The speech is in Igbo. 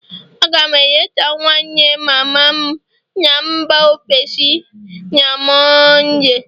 A ga m eleta nwanne mama m na mba ofesi na Mọnde